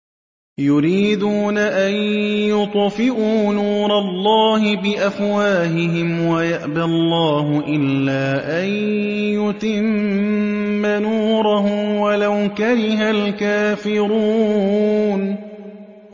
يُرِيدُونَ أَن يُطْفِئُوا نُورَ اللَّهِ بِأَفْوَاهِهِمْ وَيَأْبَى اللَّهُ إِلَّا أَن يُتِمَّ نُورَهُ وَلَوْ كَرِهَ الْكَافِرُونَ